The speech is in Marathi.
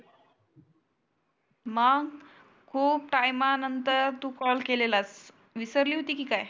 मग खुप टाइम नंतर तु कॉल केलेलास. विसरली होती की काय?